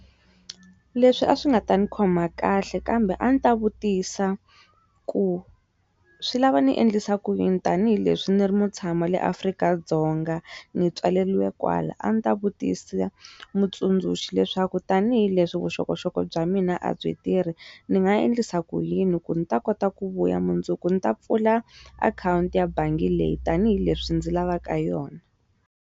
Leswi a swi nga ta ndzi khoma kahle kambe a ndzi ta vutisa ku swi lava ni endlisa ku yini tanihileswi ndzi ri mutshami wa le Afrika-Dzonga ndzi tswaleriwa kwala a ni ta vutisa mutsundzuxi leswaku tanihileswi vuxokoxoko bya mina a byi tirhi ndzi nga endlisa ku yini ku ndzi ta kota ku vuya mundzuku ndzi ta pfula akhawunti ya bangi leyi tanihileswi ndzi lavaka yona.